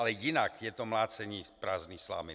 Ale jinak je to mlácení prázdné slámy.